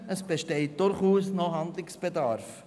Es besteht durchaus noch Handlungsbedarf.